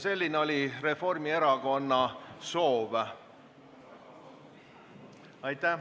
Selline oli Reformierakonna soov.